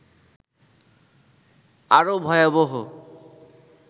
আরও ভয়াবহ